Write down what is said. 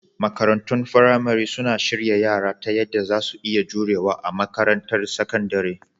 Makarantun firamare suna shirya yara ta yadda za su iya jurewa a makarantar sakandare